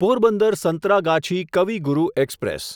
Porbandar Santragachi Kavi Guru express